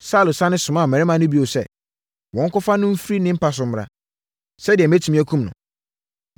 Saulo sane somaa mmarima no bio sɛ, “Monkɔfa no mfiri ne mpa so mmra, sɛdeɛ mɛtumi akum no.”